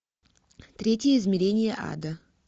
третье измерение ада